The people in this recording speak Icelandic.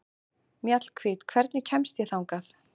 Mjallhvít, hvernig kemst ég þangað?